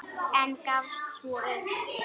En gafst svo upp.